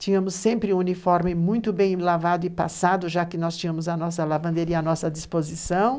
Tínhamos sempre um uniforme muito bem lavado e passado, já que nós tínhamos a nossa lavanderia à nossa disposição.